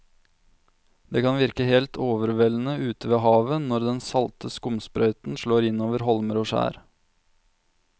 Det kan virke helt overveldende ute ved havet når den salte skumsprøyten slår innover holmer og skjær.